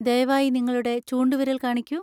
ദയവായി നിങ്ങളുടെ ചൂണ്ടുവിരൽ കാണിക്കൂ.